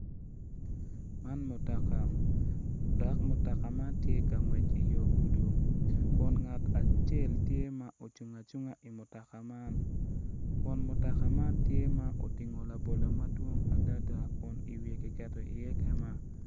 Man mutoka dok mutoka man tye ka ngwec i yo gudi kun ngat acel tye ma ocung acunga i mutoka man kom mutoka man tye ma otingo labolo madwong adada kun iwiye kiketo iye kema.